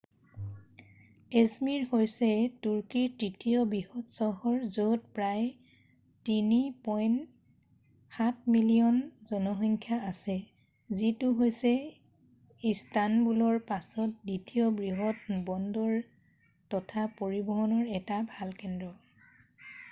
i̇zmir হৈছে তুৰ্কীৰ তৃতীয় বৃহৎ চহৰ য'ত প্ৰায় ৩.৭ মিলিয়ন জনসংখ্যা আছে যিটো হৈছে ইষ্টানবুলৰ পাছত দ্বিতীয় বৃহৎ বন্দৰ তথা পৰিবহণৰ এটা ভাল কেন্দ্ৰ।